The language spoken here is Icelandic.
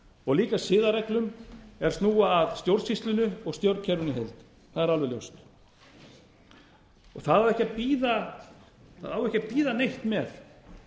og líka siðareglur er snúa að stjórnsýslunni og stjórnkerfinu í heild það er alveg ljóst það á ekki að bíða neitt með